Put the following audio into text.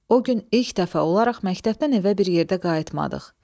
O gün ilk dəfə olaraq məktəbdən evə bir yerdə qayıtmadıq.